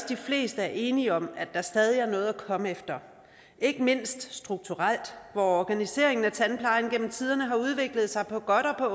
de fleste er enige om at der stadig er noget at komme efter ikke mindst strukturelt hvor organiseringen af tandplejen igennem tiderne har udviklet sig på godt og